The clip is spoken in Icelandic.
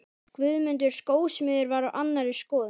Guðmundur skósmiður var á annarri skoðun.